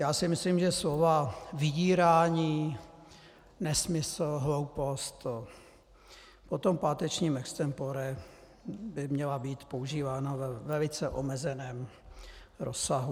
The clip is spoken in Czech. Já si myslím, že slova vydírání, nesmysl, hloupost po tom pátečním extempore by měla být používána ve velice omezeném rozsahu.